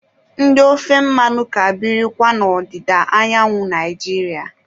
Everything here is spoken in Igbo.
Ndị ofe mmanụ ka birikwa n'odịda anyanwu Naijiria